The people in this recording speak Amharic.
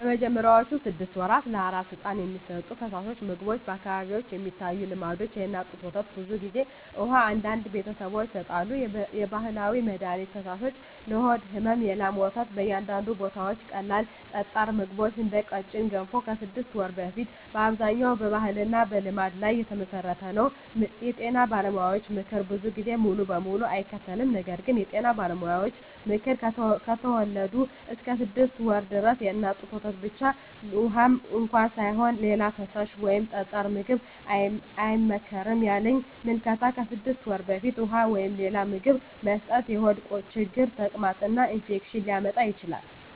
በመጀመሪያዎቹ 6 ወራት ለአራስ ሕፃን የሚሰጡ ፈሳሾች/ምግቦች በአካባቢዎች የሚታዩ ልምዶች፦ የእናት ጡት ወተት (ብዙ ጊዜ) ውሃ (አንዳንድ ቤተሰቦች ይሰጣሉ) የባህላዊ መድሀኒት ፈሳሾች (ለሆድ ሕመም) የላም ወተት (በአንዳንድ ቦታዎች) ቀላል ጠጣር ምግቦች (እንደ ቀጭን ገንፎ) ከ6 ወር በፊት አብዛኛው በባህልና በልምድ ላይ የተመሠረተ ነው የጤና ባለሙያዎች ምክር ብዙ ጊዜ ሙሉ በሙሉ አይከተልም ነገር ግን የጤና ባለሙያዎች ምክር፦ ከተወለዱ እስከ 6 ወር ድረስ የእናት ጡት ወተት ብቻ (ውሃም እንኳ ሳይሆን) ሌላ ፈሳሽ ወይም ጠጣር ምግብ አይመከርም ያለኝ ምልከታ ከ6 ወር በፊት ውሃ ወይም ሌላ ምግብ መስጠት የሆድ ችግር፣ ተቅማጥ እና ኢንፌክሽን ሊያመጣ ይችላል